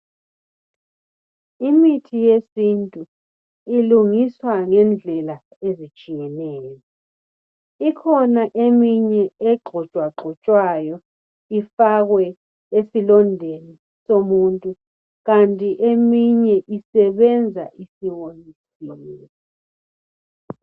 Imithi yesintu ilungiswa ngendlela ezitshiyeneyo. ikhona eminye egxotshwa gxotshwayo ifakwe esilondeni somuntu. Kanti eminye isebenza isiwonyisiwe.